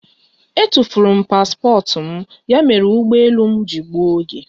Etufuru m paspọtụ m ya mere ụgbọ elu m ji gbuo oge.